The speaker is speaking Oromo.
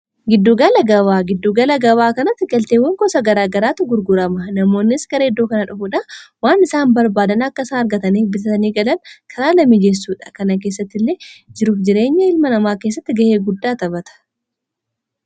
giddugala gabaa giddugala gabaa kanatti galteewwan kosa garaa garaatu gurgurama namoonnis gara eddoo kana dhufuudhaan waan isaan barbaadan akka isaan argataniif bitatanii galan karaalee miijeessuudha. kana keessatti illee jiruuf jireenya ilma namaa keessatti ga'ee guddaa taphata.